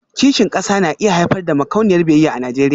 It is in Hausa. Kishin kasa na iya haifar da makauniyar biyayya a Najeriya